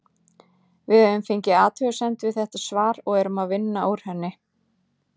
Við höfum fengið athugasemd við þetta svar og erum að vinna úr henni.